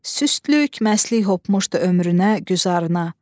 Süstlük, məstlik hopmuşdu ömrünə, güzarına.